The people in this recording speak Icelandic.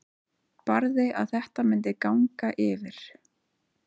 Barði að þetta myndi ganga yfir.